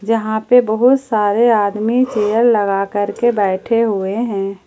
जहां पे बहुत सारे आदमी चेयर लगा करके बैठे हुए हैं।